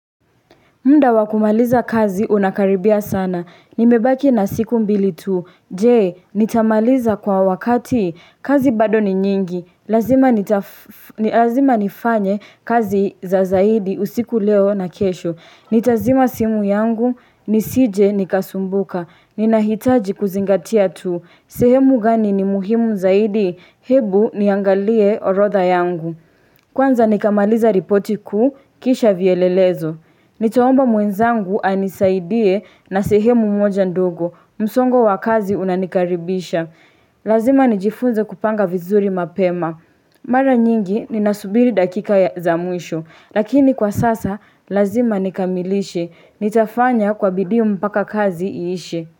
Mda wakumaliza kazi unakaribia sana. Nimebaki na siku mbili tu. Je, nitamaliza kwa wakati. Kazi bado ni nyingi lazima nita Lazima nifanye kazi za zaidi usiku leo na kesho. Nitazima simu yangu. Nisije nikasumbuka. Ninahitaji kuzingatia tu. Sehemu gani ni muhimu zaidi. Ebu niangalie orodha yangu. Kwanza nikamaliza ripoti ku. Kisha vielelezo. Nitaomba mwenzangu anisaidie na sehemu moja ndogo, msongo wakazi unanikaribisha. Lazima nijifunze kupanga vizuri mapema. Mara nyingi ninasubiri dakika ya zamwisho, lakini kwa sasa lazima nikamilishe, nitafanya kwa bidii mpaka kazi iishe.